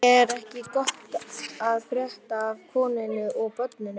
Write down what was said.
Er ekki allt gott að frétta af konunni og börnunum?